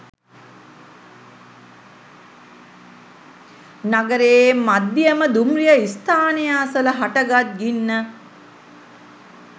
නගරයේ මධ්‍යම දුම්රිය ස්ථානය අසල හටගත් ගින්න